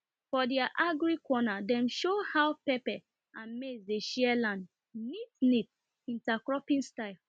for their agri corner dem show how pepper and maize dey share land neat intercropping style